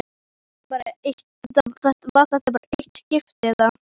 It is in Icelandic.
Var þetta bara eitt skipti, eða.